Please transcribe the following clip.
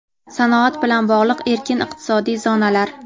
sanoat bilan bog‘liq erkin iqtisodiy zonalar.